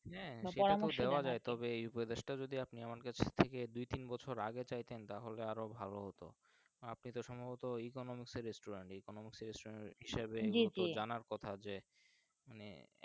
হ্যাঁ সেটা তো বলা যাই এই উপদেশ টা আমার কাছে দুই তিন বছর আগে চাইতেন তাহলে আরো ভালো হতো আপনি তো সম্ভবত Economic এর StudentEconomic হিসাবে জি জি তো জনের কথা যে মানে একটা।